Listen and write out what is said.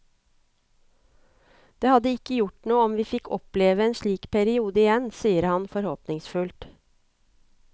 Det hadde ikke gjort noe om vi fikk oppleve en slik periode igjen, sier han forhåpningsfullt.